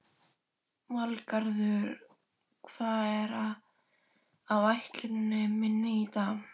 Valgarður, hvað er á áætluninni minni í dag?